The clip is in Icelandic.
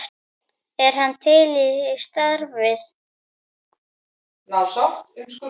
Er hann til í starfið?